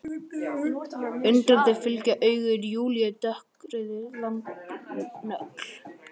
Undrandi fylgja augu Júlíu dökkrauðri langri nögl.